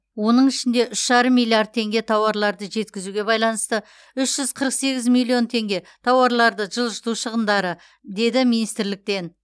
оның ішінде үш жарым миллиард теңге тауарларды жеткізуге байланысты үш жүз қырық сегіз миллион теңге тауарларды жылжыту шығындары деді министрліктен